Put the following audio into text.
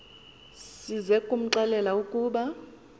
size kumxelela ukuba